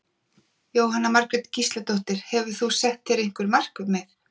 Jóhanna Margrét Gísladóttir: Hefur þú sett þér eitthvað markmið?